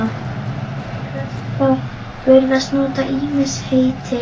Prestar virðast nota ýmis heiti.